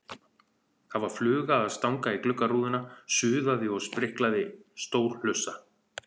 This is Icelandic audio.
Það var fluga að stanga í gluggarúðuna, suðaði og spriklaði, stór hlussa.